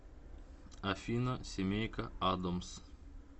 афина семейка адомс